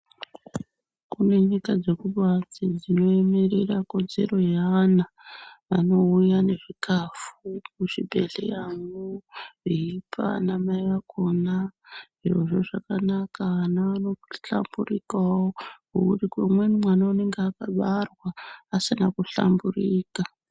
Kune nyika dzekubaiti dzinoemerera kodzero yeana. Anouya nezvikafu mwuzvibhedheyamwo, veipa vana mai vakona. Zvirozvo zvakanaka vana vanohlamburikawo ngokuti umweni mwana unenga akabarwa asina kuhlamburika.